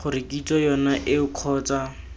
gore kitso yone eo kgotsa